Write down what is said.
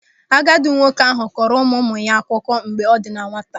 Agadi nwoke ahụ kọọrọ ụmụụmụ ya akụkọ mgbe ọ dị na nwata.